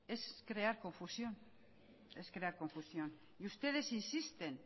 es crear confusión y ustedes insisten